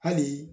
Hali